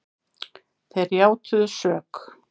Þeir játuðu sök